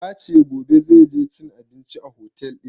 Ya ce gobe zai je cin abinci a otel ɗin